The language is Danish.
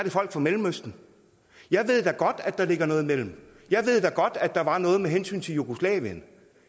folk fra mellemøsten jeg ved da godt at der ligger noget imellem jeg ved da godt at der var noget med hensyn til jugoslavien